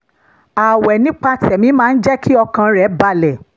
ààwẹ̀ nípa tẹ̀mí máa ń jẹ́ kí ọkàn rẹ̀ balẹ̀